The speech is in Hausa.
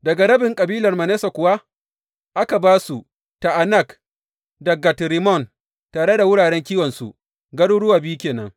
Daga rabin kabilar Manasse kuwa aka ba su, Ta’anak da Gat Rimmon, tare da wuraren kiwonsu, garuruwa biyu ke nan.